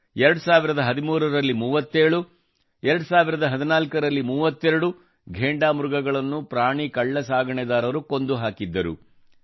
2013 ರಲ್ಲಿ 37 ಮತ್ತು 2014 ರಲ್ಲಿ 32 ಘೇಂಡಾ ಮೃಗಗಳನ್ನು ಪ್ರಾಣಿ ಕಳ್ಳಸಾಗಣೆದಾರರು ಕೊಂದು ಹಾಕಿದ್ದರು